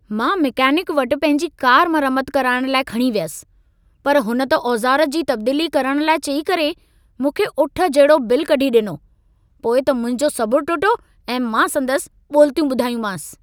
मां मैकेनिक वटु पंहिंजी कार मरम्मत कराइण लाइ खणी वयुसि। पर हुन त औज़ार जी तब्दीली करण लाइ चई करे, मूंखे उठ जेॾो बिल कढ़ी ॾिनो। पोइ त मुंहिंजो सबुर टुटो ऐं मां संदसि ॿोलितियूं ॿुधायूंमांसि।